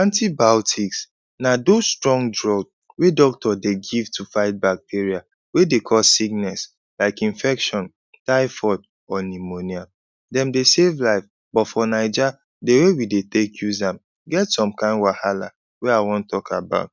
Antibiotics na dos strong drug wey doctor dey give to fight bacteria wey dey cause sickness like infection, typhoid, or pneumonia. Dem dey save life, but for Naija, the way we dey take use am get some kain wahala wey I wan talk about.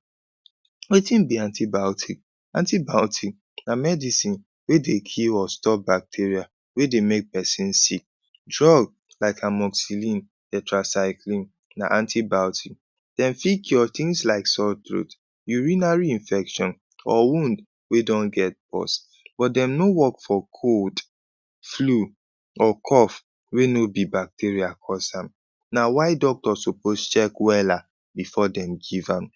Wetin be antibiotic? Antibiotic na medicine wey dey cure or stop bacteria wey dey make peson sick. Drug like Amoxicillin, Tetracycline na antibiotic. Dem fit cure tins like sore throat, urinary infection, or wound wey don get pores, but dem no work for cold, flu, or cough wey no be bacteria cause am. Na why doctor suppose check wella before dem give am.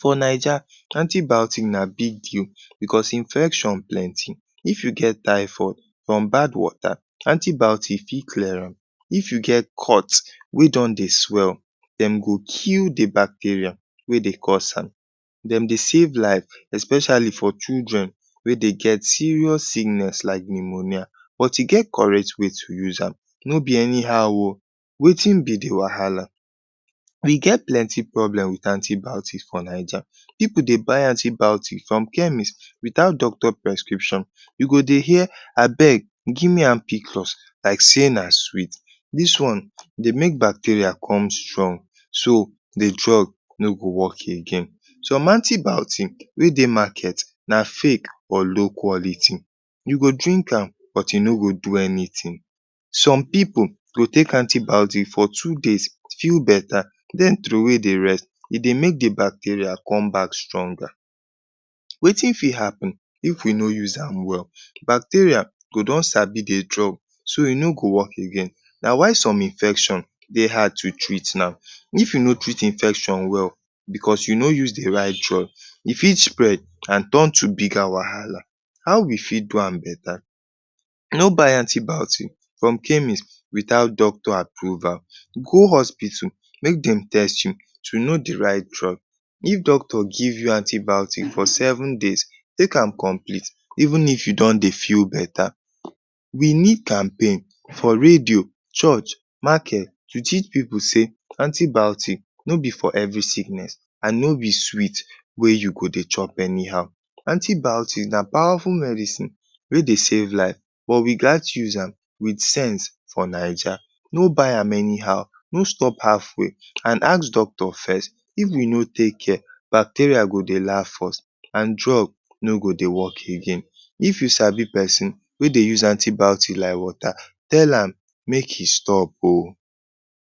For Naija, antibiotic na big deal becos infection plenty. If you get typhoid from bad water, antibiotic fit clear am. If you get cut wey don dey swell, dem go kill the bacteria wey dey cause am. Dem dey save life especially for children wey dey get serious illness like pneumonia. But e get correct way to use am, no be anyhow oh. Wetin be the wahala? We get plenty problem with antibiotics for Naija. Pipu dey buy antibiotic from chemist without doctor prescription. You go dey hear abeg give me ampiclos like sey na sweet. Dis one dey make bacteria come strong so the drug no go work again. Some antibiotic wey dey market na fake or low quality. You go drink am but e no go do anything. Some pipu go take antibiotic for two days, feel beta, then throwway the rest. E dey make the bacteria come back stronger. Wetin fit happen if we no use am well? Bacteria go don sabi the drug so e no go work again. Na why some infection dey hard to treat now. If you no treat infection well becos you no use the right drug, e fit spread an turn to bigger wahala. How we fit do am beta? No buy antibiotic from chemist without doctor approval. Go hospital make dem test you to know the right drug. If doctor give you antibiotic for seven days, take am complete even if you don dey feel beta. We need campaign for radio, church, market to teach pipu sey antibiotic no be for every sickness, an no be sweet wey you go dey chop anyhow. Antibiotic na powerful medicine wey dey save life but we gat use am with sense for Naija. No buy am anyhow, no stop halfway an ask doctor first. If we no take care, bacteria go dey laf us, an drug no go dey work again. If you sabi peson wey dey use antibiotic like water, tell am make e stop oh.